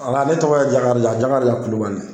ne tɔgɔ ye Jakarija Jakarija Kulubali.